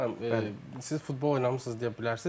Bir də Ayxan müəllim, siz futbol oynamısız deyə bilərsiniz.